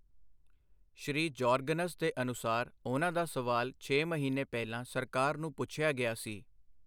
ਸ੍ਰੀ Jorgens ਦੇ ਅਨੁਸਾਰ, ਉਨ੍ਹਾਂ ਦਾ ਸਵਾਲ ਛੇ ਮਹੀਨੇ ਪਹਿਲਾਂ ਸਰਕਾਰ ਨੂੰ ਪੁੱਛਿਆ ਗਿਆ ਸੀ।